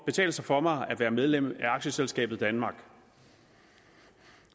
betale sig for mig at være medlem af aktieselskabet danmark